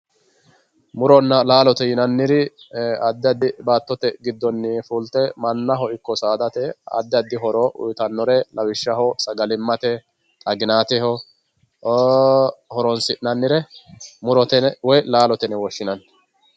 Muronna laalote yinanniri addi addi baattote giddoni fulte mannaho ikko saadate addi addi horo uyittanore lawishshaho sagalimate xaginateho horonsi'nannire murote yine woyi laalote yine woshshinanni.